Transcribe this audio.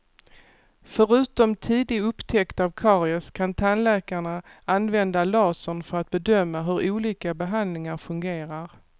Förutom tidig upptäckt av karies kan tandläkarna använda lasern för att bedöma hur olika behandlingar fungerar.